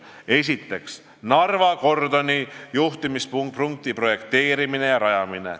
Esiteks, Narva kordoni juhtimispunkti projekteerimine ja rajamine.